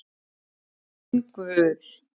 Minn Guð.